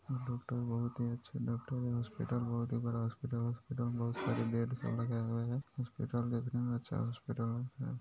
यह डॉक्टर बहुत ही अच्छे डॉक्टर यह हॉस्पिटल बहुत ही बड़ा हॉस्पिटल हॉस्पिटल में बहुत सारे बेड सब लगे हुए है हॉस्पिटल देखने में अच्छा हॉस्पिटल --